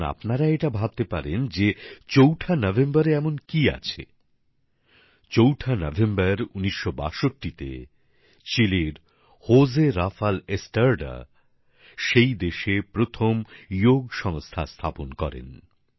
এখন আপনারা এটা ভাবতে পারেন যে চৌঠা নভেম্বরে এমন কি আছে চৌঠা নভেম্বর ১৯৬২ তে চিলির হোজে রাফাল এস্ট্রাডা সেই দেশে প্রথম যোগ সংস্থা স্থা্পন করেন